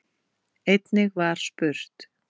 Einnig var spurt